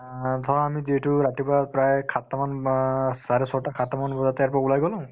ধৰা আমি যিহেতু ৰাতিপুৱা প্ৰায় সাতটামান বা চাৰে ছয়টা সাতটামান বজাতে ইয়াৰ পৰা ওলাই গলো